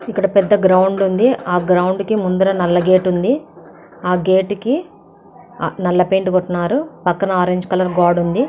ఇక్కడ పెద్ద గ్రౌండ్ ఉంది. ఆ గ్రౌండ్ కి ముందర నల్ల గేటు ఉంది. ఆ గేటు కి నల్ల పెయింట్ వేస్తున్నారు. పక్కన ఆరెంజ్ కలరు గోడ ఉంది.